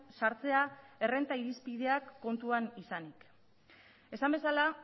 sartzea errenta irizpideak kontuan izanik esan bezala